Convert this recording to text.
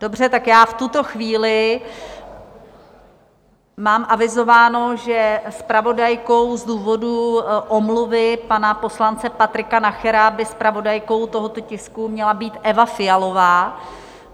Dobře, tak já v tuto chvíli mám avizováno, že zpravodajkou - z důvodu omluvy pana poslance Patrika Nachera by zpravodajkou tohoto tisku měla být Eva Fialová.